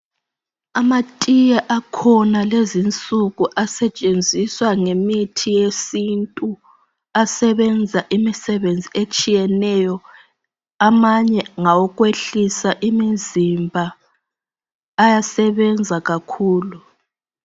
Amatiye akhona lezinsuku asetshenziswa ngemithi yesintu. Asebenza imisebenzi etshiyeneyo. Amanye ngawokwehlisa imizimba. Ayasebenza kakhulu.